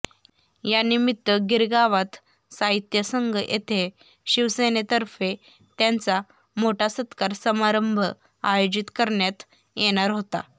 यानिमित्त गिरगावात साहित्य संघ येथे शिवसेनेतर्फे त्यांचा मोठा सत्कार समारंभ आयोजित करण्यात येणार होता